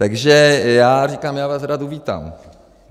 Takže já říkám, já vás rád uvítám.